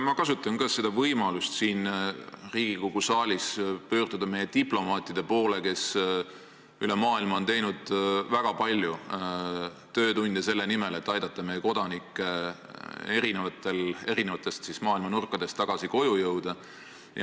Ma kasutan ka võimalust siin Riigikogu saalis pöörduda meie diplomaatide poole, kes üle maailma on teinud väga palju töötunde selle nimel, et aidata jõuda meie kodanikke maailma eri nurkadest tagasi koju.